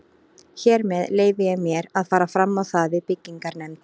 Hér með leyfi ég mér, að fara fram á það við byggingarnefnd